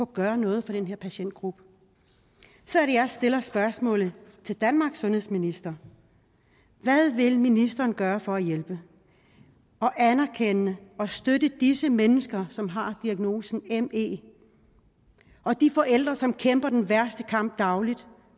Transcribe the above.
gøre noget for den her patientgruppe så er det jeg stiller spørgsmålet til danmarks sundhedsminister hvad vil ministeren gøre for at hjælpe og anerkende og støtte disse mennesker som har diagnosen me og de forældre som kæmper den værste kamp dagligt